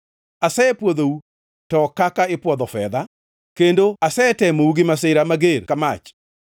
Asepwodhou, to ok kaka ipwodho fedha, kendo asetemou gi masira mager ka mach.